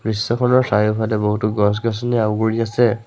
দৃশ্যখনৰ চাৰিওফালে বহুতো গছ-গছনিয়ে আগুৰি আছে।